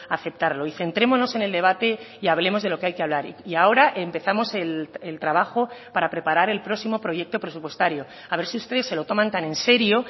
aceptarlo y centrémonos en el debate y hablemos de lo que hay que hablar y ahora empezamos el trabajo para preparar el próximo proyecto presupuestario a ver si ustedes se lo toman tan en serio